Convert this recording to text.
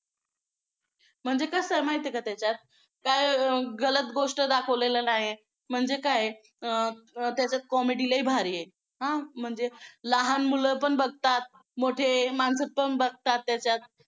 म्हणजे कसं आहे माहिती आहे का त्याच्यात काय गलत गोष्ट दाखवलेलं नाही. म्हणजे काय आहे अं त्याच्यात comedy लई भारी आहे. आ म्हणजे लहान मुलं पण बघतात. मोठे माणसं पण बघतात त्याच्यात